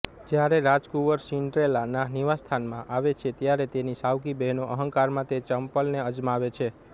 જ્યારે રાજકુંવર સિન્ડ્રેલાના નિવાસસ્થાનમાં આવે છે ત્યારે તેની સાવકી બહેનો અહંકારમાં તે ચંપલને અજમાવે છે